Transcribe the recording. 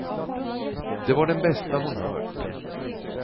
Det var den bästa hon hört.